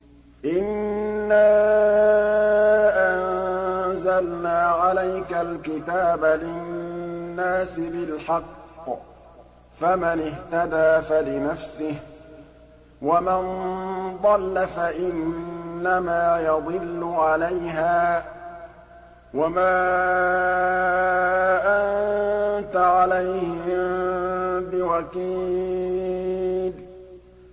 إِنَّا أَنزَلْنَا عَلَيْكَ الْكِتَابَ لِلنَّاسِ بِالْحَقِّ ۖ فَمَنِ اهْتَدَىٰ فَلِنَفْسِهِ ۖ وَمَن ضَلَّ فَإِنَّمَا يَضِلُّ عَلَيْهَا ۖ وَمَا أَنتَ عَلَيْهِم بِوَكِيلٍ